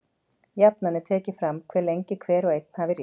Jafnan er tekið fram hve lengi hver og einn hafi ríkt.